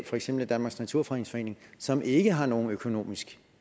for eksempel danmarks naturfredningsforening som ikke har noget økonomisk